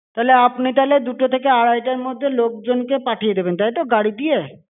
তাহলে আপনি তাহলে দুটো থেকে আড়াইটার মধ্যে লোকজনকে পাঠিয়ে দেবেন, তাই তো? গাড়ি দিয়ে?